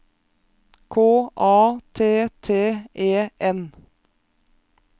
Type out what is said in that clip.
K A T T E N